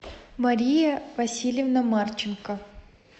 мария васильевна марченко